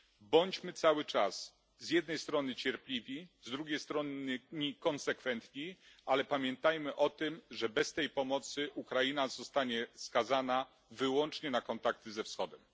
Bądźmy cały czas, z jednej strony cierpliwi, z drugiej strony konsekwentni, ale pamiętajmy o tym, że bez tej pomocy Ukraina zostanie skazana wyłącznie na kontakty ze Wschodem.